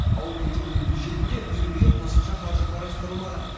ауыл мектебінің бюджетінде үйірмеге қосымша қаржы қарастырылмаған